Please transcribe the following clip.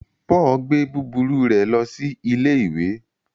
Paul gbé búburú rẹ lo sí ìlé ìwé